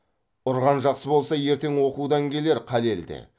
ұрған жақсы болса ертең оқудан келер қалел де